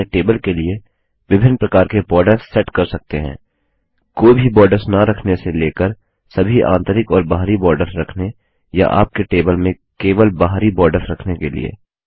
आप अपने टेबल के लिए विभिन्न प्रकार के बॉर्डर्स सेट कर सकते हैं कोई भी बॉर्डर्स न रखने से लेकर सभी आंतरिक और बाहरी बॉर्डर्स रखने या आपके टेबल में केवल बाहरी बार्डर्स रखने के लिए